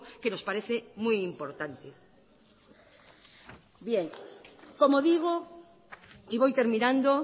que nos parece muy importante bien como digo y voy terminando